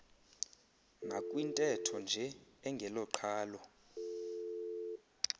nakwintetho nje engeloqhalo